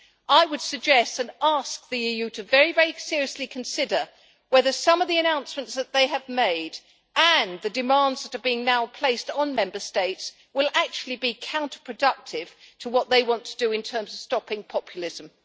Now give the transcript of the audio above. I would suggest and ask the EU to very, very seriously consider whether some of the announcements that they have made and the demands that are now being placed on Member States will actually be counterproductive to what they want to do in terms of stopping populism.